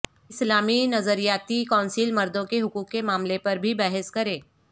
اسلامی نظریاتی کونسل مردوں کے حقوق کے معاملے پر بھی بحث کرے